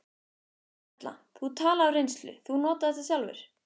Erla: Þú talar af reynslu, þú notar þetta sjálfur?